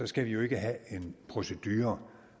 skal vi jo ikke have en procedure